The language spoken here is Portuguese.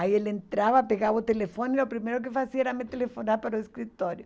Aí ele entrava, pegava o telefone, e o primeiro que fazia era me telefonar para o escritório.